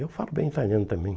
Eu falo bem italiano também.